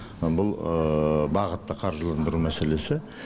бұл бағытты қаржыландыру мәселесі